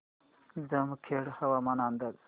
जामखेड हवामान अंदाज